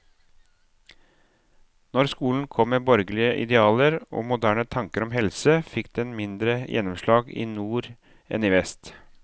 Når skolen kom med borgerlige idealer og moderne tanker om helse, fikk den mindre gjennomslag i nord enn i vest.